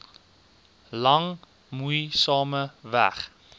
lang moeisame weg